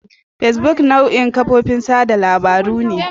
Facebook nau'in kafofin watsa labarun ne.